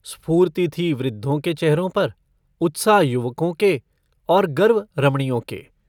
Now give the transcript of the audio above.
स्फूर्ति थी वृद्धों के चेहरों पर उत्साह युवको के और गर्व रमणियों के।